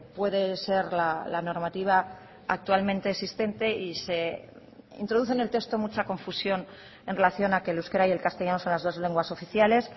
puede ser la normativa actualmente existente y se introduce en el texto mucha confusión en relación a que el euskera y el castellano son las dos lenguas oficiales